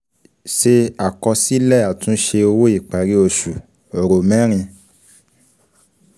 Se àkọsílẹ̀ àtúnṣe owó ìparí oṣù, ro mẹrin.